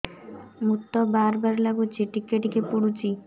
ମୁତ ବାର୍ ବାର୍ ଲାଗୁଚି ଟିକେ ଟିକେ ପୁଡୁଚି